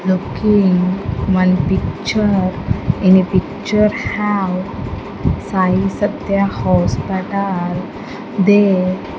looking one picture in a picture have sai satya hospital they --